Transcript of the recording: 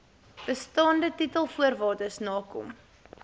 bestaande titelvoorwaardes nakom